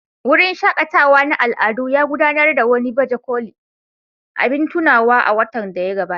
Wurin shaƙatawa na al'adu ya gudanar da wani baje kolin abin tunawa a watan da ya gabata.